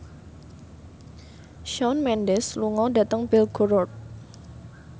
Shawn Mendes lunga dhateng Belgorod